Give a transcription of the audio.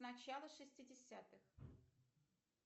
начало шестидесятых